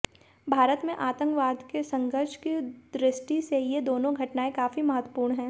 भारत में आतंकवाद के संघर्ष की दृष्टि से ये दोनों घटनाएं काफी महत्वपूर्ण हैं